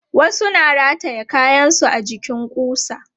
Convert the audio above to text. Wasu na rataye kayansu a jikin ƙusa.